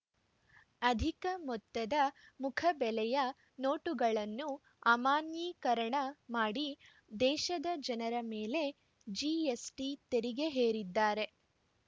ಅಧಿಕ ಮೊತ್ತದ ಮುಖಬೆಲೆಯ ನೋಟುಗಳನ್ನು ಅಮಾನ್ಯೀಕರಣ ಮಾಡಿ ದೇಶದ ಜನರ ಮೇಲೆ ಜಿಎಸ್‌ಟಿ ತೆರಿಗೆ ಹೇರಿದ್ದಾರೆ